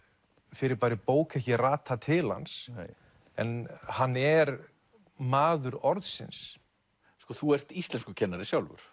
fyrirbærið bók ekki rata til hans en hann er maður orðsins þú ert íslenskukennari sjálfur